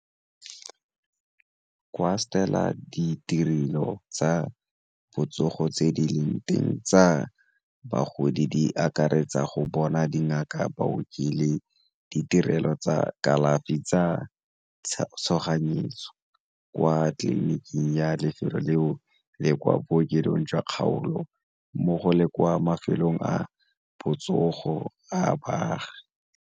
O a ditirelo tsa botsogo tse di leng teng tsa bagodi di akaretsa go bona dingaka, baoki le ditirelo tsa kalafi tsa tshoganyetso kwa tleliniking ya lefelo le o e kwa bookelong jwa kgaolo mmogo le kwa mafelong a botsogo a baagi.